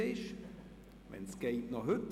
Bitte tun Sie dies noch heute.